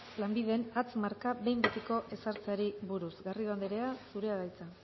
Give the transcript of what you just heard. lanbiden hatz marka behin betiko ezartzeari buruz garrido anderea zurea da hitza